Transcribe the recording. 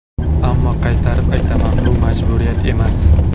Ammo qaytarib aytaman, bu majburiyat emas.